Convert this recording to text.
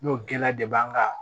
N'o gɛlɛya de b'an kan